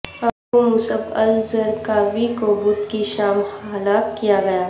ابو Musab al Zarqawi کو بدھ کی شام ہلاک کیا گیا